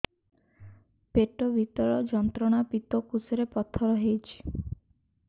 ପେଟ ଭୀଷଣ ଯନ୍ତ୍ରଣା ପିତକୋଷ ରେ ପଥର ହେଇଚି